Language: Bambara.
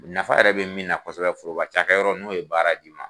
Nafa yɛrɛ be min na kosɛbɛ foroba cakɛ yɔrɔ n'o ye baara d'i ma.